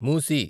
మూసి